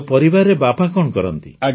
ଆଉ ପରିବାରରେ ବାପା କଣ କରନ୍ତି